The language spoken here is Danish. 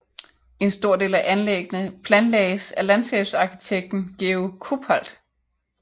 En stor del af anlæggene planlagdes af landskabsarkitekten Georg Kuphaldt